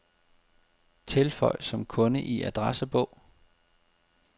Tilføj som kunde i adressebog.